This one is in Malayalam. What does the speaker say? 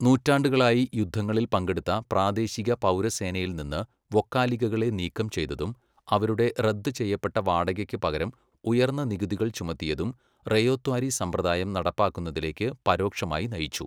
നൂറ്റാണ്ടുകളായി യുദ്ധങ്ങളിൽ പങ്കെടുത്ത പ്രാദേശിക പൗരസേനയിൽ നിന്ന് വൊക്കാലിഗകളെ നീക്കം ചെയ്തതും അവരുടെ റദ്ദ് ചെയ്യപ്പെട്ട വാടകയ്ക്ക് പകരം ഉയർന്ന നികുതികൾ ചുമത്തിയതും റയോത്വാരി സമ്പ്രദായം നടപ്പാക്കുന്നതിലേക്ക് പരോക്ഷമായി നയിച്ചു.